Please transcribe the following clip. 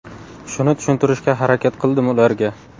Shuni tushuntirishga harakat qildim ularga”.